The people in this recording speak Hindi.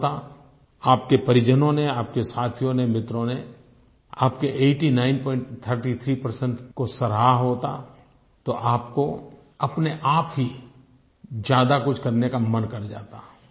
अच्छा होता आपके परिजनों ने आपके साथियों ने मित्रों ने आपके 8933 परसेंट को सराहा होता तो आपको अपनेआप ही ज्यादा कुछ करने का मन कर जाता